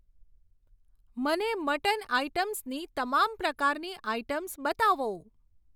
મને મટન આઇટમ્સની તમામ પ્રકારની આઇટમ્સ બતાવો.